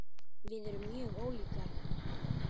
Við erum mjög ólíkar.